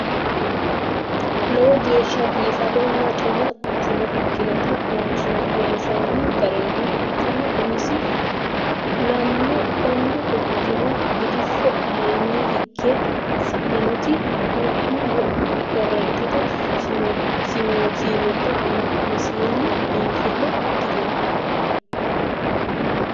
Lowo geeshsha bifadonna xuma quchuma ikkinota loonsoonni garinna quchumu umisi ku'lanno. Konni quchumi gidfo aleenni higge sa'inoti du'ma du'ma korrentete siiwubba umisenni biinfille ikkitino.